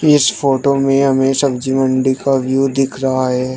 इस फोटो में हमें सब्जी मंडी का व्यू दिख रहा है।